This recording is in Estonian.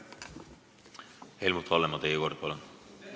Helmut Hallemaa, teie kord, palun!